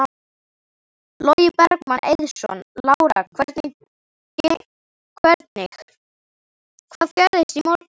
Logi Bergmann Eiðsson: Lára hvernig, hvað gerðist í morgun?